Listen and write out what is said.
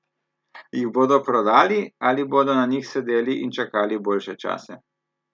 Jih bodo prodali ali bodo na njih sedeli in čakali boljše čase?